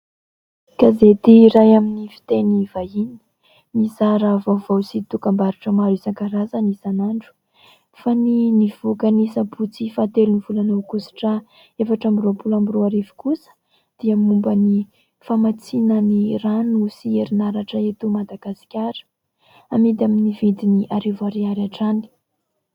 Gazety iray amin'ny fiteny vahiny, mizara vaovao sy dokam-barotra maro isankarazany isanandro. Fa ny nivoaka ny sabotsy faha telon'ny volana aogositra efatra amby roapolo amby roa arivo kosa, dia momba ny famatsiana ny rano sy herinaratra eto Madagasikara. Amidy amin'ny vidiny arivo ariary hatrany.